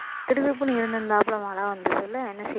திடுதிப்புனு இருந்திருந்தாப்புல மழை வந்தருதுல என்ன செய்ய முடியும்